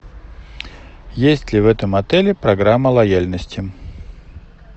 есть ли в этом отеле программа лояльности